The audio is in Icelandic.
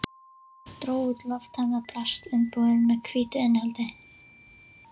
Dró út lofttæmdar plastumbúðir með hvítu innihaldi.